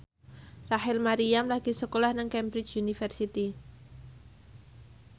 Rachel Maryam lagi sekolah nang Cambridge University